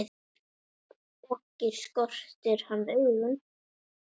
Ekki skortir hann augun.